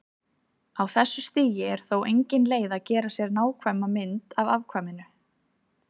Á þessu stigi er þó engin leið að gera sér nákvæma mynd af afkvæminu.